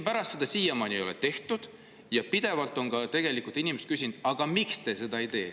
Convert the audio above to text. Aga siiamaani ei ole seda tehtud ja inimesed pidevalt küsivad, miks te seda ei tee.